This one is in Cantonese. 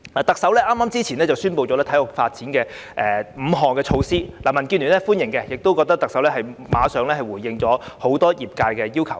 特首較早前宣布5項體育發展措施，民建聯對此表示歡迎，亦認為特首馬上回應了業界多項要求。